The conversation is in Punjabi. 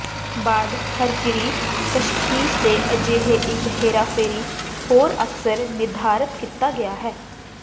ਬਾਅਦ ਖਰਕਿਰੀ ਤਸ਼ਖੀਸ ਦੇ ਅਜਿਹੇ ਇੱਕ ਹੇਰਾਫੇਰੀ ਹੋਰ ਅਕਸਰ ਨਿਰਧਾਰਤ ਕੀਤਾ ਗਿਆ ਹੈ